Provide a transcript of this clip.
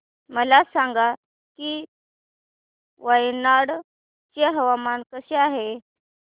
मला सांगा की वायनाड चे हवामान कसे आहे